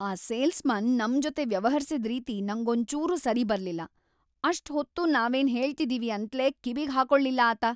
ಆ ಸೇಲ್ಸ್‌ಮನ್ ನಮ್ ಜೊತೆ ವ್ಯವಹರ್ಸಿದ್ ರೀತಿ ನಂಗೊಂಚೂರೂ ಸರಿಬರ್ಲಿಲ್ಲ. ಅಷ್ಟ್‌ ಹೊತ್ತೂ ನಾವೇನ್‌ ಹೇಳ್ತಿದೀವಿ ಅಂತ್ಲೇ ಕಿವಿಗ್‌ ಹಾಕೊಳ್ಲಿಲ್ಲ ಆತ.